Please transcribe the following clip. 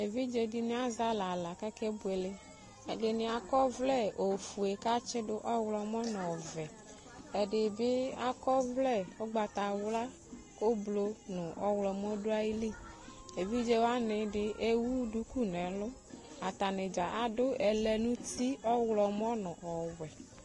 Evidze dɩnɩ azɛ alɛ aɣla kʋ akebuele Ɛdɩnɩ akɔ ɔvlɛ ofue kʋ atsɩdʋ ɔɣlɔmɔ nʋ ɔvɛ Ɛdɩ bɩ akɔ ɔvlɛ ʋgbatawla kʋ oblʋ nʋ ɔɣlɔmɔ dʋ ayili Evidze wanɩ dɩ ewu duku nʋ ɛlʋ Atanɩ dza adʋ ɛlɛnʋti ɔɣlɔmɔ nʋ ɔwɛ